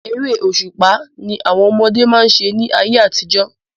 Eré òṣùpá ni àwọn ọmọdé má ń ṣe ní ayé àtijọ́.